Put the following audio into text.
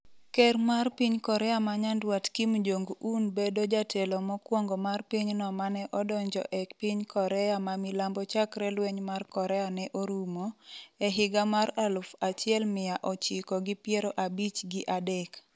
ker mar piny Korea ma nyandwat Kim Jong-un bedo jatelo mokwongo mar pinyno mane odonjo e piny Korea ma Milambo chakre lweny mar Korea ne orumo, e higa mar aluf achiel miya ochiko gi piero abich gi adek